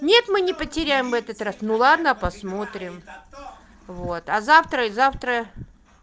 нет мы не потеряем в этот раз ну ладно посмотрим вот а завтра и завтра